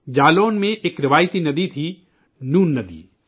جالون میں ایک روایتی ندی تھی نون ندی